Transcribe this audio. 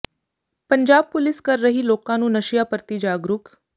Punjab police ਕਰ ਰਹੀ ਲੋਕਾਂ ਨੂੰ ਨਸ਼ਿਆਂ ਪ੍ਰਤੀ ਜਾਗਰੂਕ